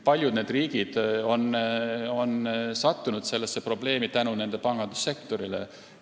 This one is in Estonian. Paljud riigid on sattunud sellistesse probleemidesse oma pangandussektori tõttu.